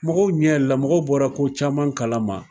Mɔgɔw ɲɛ yɛlɛ la, mɔgɔw bɔra ko caman kala ma.